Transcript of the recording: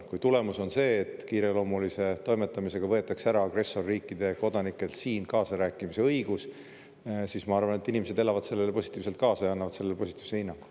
Kui tulemus on see, et kiireloomulise toimetamisega võetakse ära agressorriikide kodanikelt siin kaasarääkimise õigus, siis ma arvan, et inimesed elavad sellele positiivselt kaasa ja annavad sellele positiivse hinnangu.